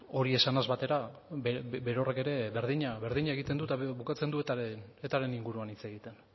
hori esanaz batera berorrek ere berdina egiten du eta bukatzen du etaren inguruan hitz egiten